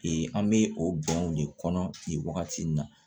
Ee an bɛ o bɛnw de kɔnɔ nin wagati in na